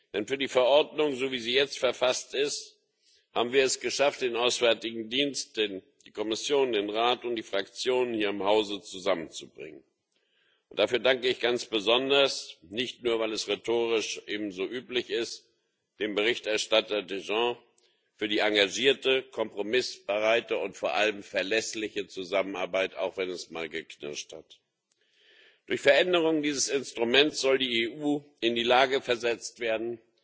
Denn für die Verordnung, wie sie jetzt verfasst ist, haben wir es geschafft, den Auswärtigen Dienst, die Kommission, den Rat und die Fraktionen hier im Hause zusammenzubringen. Dafür danke ich ganz besonders nicht nur, weil es rhetorisch eben so üblich ist dem Berichterstatter Danjean für die engagierte, kompromissbereite und vor allem verlässliche Zusammenarbeit, auch wenn es mal geknirscht hat. Durch die Veränderung dieses Instruments soll die EU in die Lage versetzt werden,